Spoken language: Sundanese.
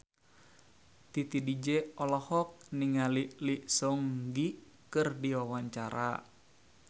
Titi DJ olohok ningali Lee Seung Gi keur diwawancara